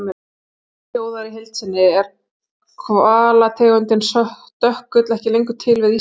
Spurningin hljóðar í heild sinni: Er hvalategundin stökkull ekki lengur til við Ísland?